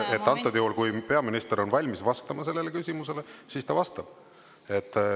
Et antud juhul, kui peaminister on valmis vastama sellele küsimusele, siis ta vastab.